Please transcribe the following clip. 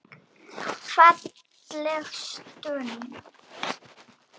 Falleg stund.